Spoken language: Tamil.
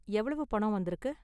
எவ்வளவு பணம் வந்திருக்கு?